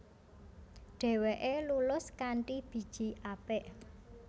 Dheweke lulus kanthi biji apik